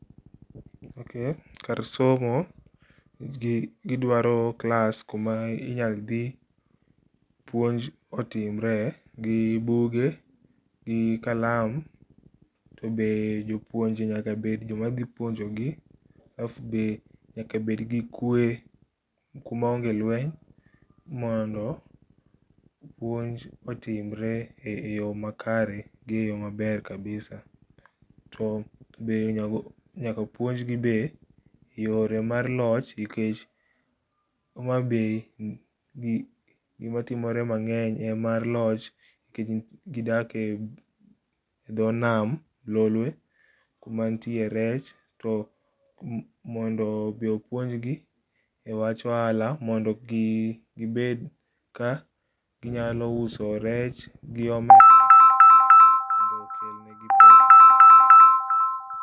Kar somo gidwaro klas kuma inyal dhi puonj otimre gi buge gi kalam, tobe jopuonj nyaka bed, joma dhi puonjogi. Alaf be nyaka bed gi kwe kuma onge lweny mondo puonj otimre e yoo makare gi eyoo maber kabisa. To be nyaka puonj gi be yore mar loch nikech Homabay ,gima timore mangeny en mar loch nikech gidake e dho nam lolwe ,kuma nitie rech to mondo be opuonjgi e wach ohala mondo gibed ka ginyalo uso rech gi..